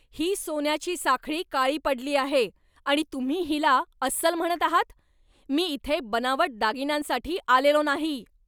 ही सोन्याची साखळी काळी पडली आहे आणि तुम्ही हिला अस्सल म्हणत आहात? मी इथे बनावट दागिन्यांसाठी आलेलो नाही!